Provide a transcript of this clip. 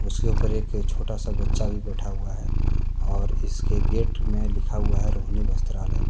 उसके ऊपर एक छोटा सा बच्चा भी बैठा हुआ है और इसके गेट में लिखा हुआ है रोहिणी वस्त्रालय।